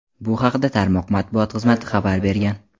Bu haqda tarmoq matbuot xizmati xabar bergan.